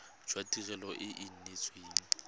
jwa tirelo e e neetsweng